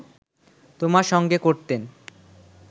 তোমার সঙ্গে করতেন